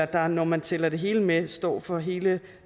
der når man tæller det hele med står for hele